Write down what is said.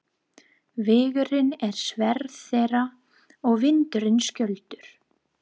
Vegurinn er sverð þeirra og vindurinn skjöldur.